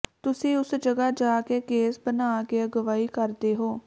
ਤੁਸੀਂ ਉਸ ਜਗ੍ਹਾ ਜਾ ਕੇ ਕੇਸ ਬਣਾ ਕੇ ਅਗਵਾਈ ਕਰਦੇ ਹੋ